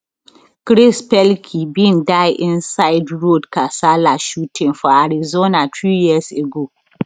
chris pelkey bin die inside road kasala shooting for arizona three years ago